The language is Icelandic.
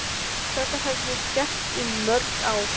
Þetta hef ég gert í mörg ár.